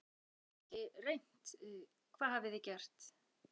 Hvað, þið hafið kannski reynt, hvað hafið þið gert?